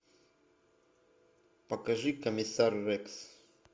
покажи комиссар рекс